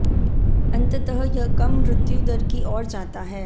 अंततः यह कम मृत्यु दर की ओर जाता है